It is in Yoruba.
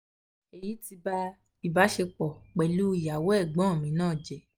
" èyí ti ba ìbáṣepọ̀ pẹ̀lú iyawo egbon mi náà jẹ́